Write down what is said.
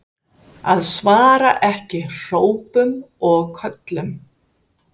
Að svara ekki hrópum og köllum?